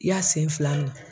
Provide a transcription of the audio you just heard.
I y'a sen fila minɛ.